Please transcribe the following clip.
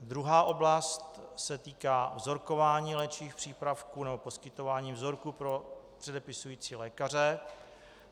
Druhá oblast se týká vzorkování léčivých přípravků nebo poskytování vzorků pro předepisující lékaře.